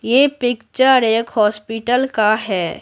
ये पिक्चर एक हॉस्पिटल का है।